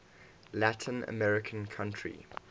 latin american country